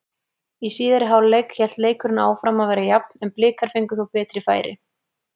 Í síðari hálfleik hélt leikurinn áfram að vera jafn en Blikar fengu þó betri færi.